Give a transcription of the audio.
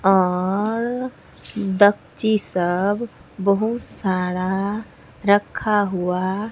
और सब बहुत सारा रखा हुआ--